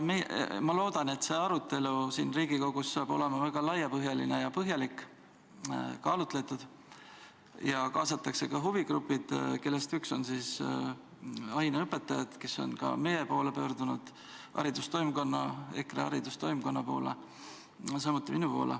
Ma loodan, et see arutelu siin Riigikogus saab olema väga laiapõhjaline ja põhjalik, kaalutletud, ja et kaasatakse ka huvigrupid, kellest üks on aineõpetajad, kes on ka meie, EKRE haridustoimkonna ja otse minu poole pöördunud.